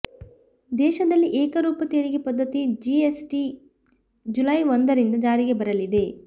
ದೇಶದಲ್ಲಿ ಏಕರೂಪ ತೆರಿಗೆ ಪದ್ದತಿ ಜಿಎಸ್ಟಿ ಜುಲೈ ಒಂದರಿಂದ ಜಾರಿಗೆ ಬರಲಿದೆ